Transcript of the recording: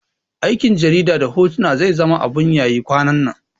Aikin jarida na hoto zai zama abun yayi kwanannan